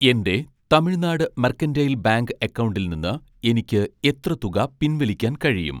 എൻ്റെ Tamilnad mercantile bank അക്കൗണ്ടിൽ നിന്ന് എനിക്ക് എത്ര തുക പിൻവലിക്കാൻ കഴിയും?